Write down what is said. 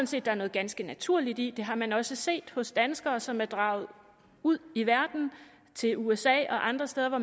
set der er noget ganske naturligt i det har man også set hos danskere som er draget ud i verden til usa og andre steder hvor